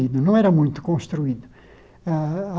não era muito construído ah